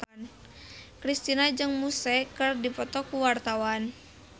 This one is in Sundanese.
Kristina jeung Muse keur dipoto ku wartawan